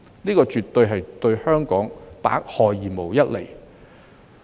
這對香港絕對是百害而無一利。